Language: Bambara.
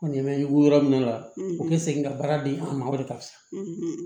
Ko ɲɛ bɛ wili yɔrɔ min na u bɛ segin ka baara di an ma o de kan sa